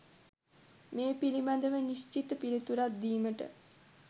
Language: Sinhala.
මේ පිළිබඳව නිශ්චිත පිළිතුරක් දීමට